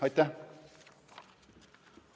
Aitäh!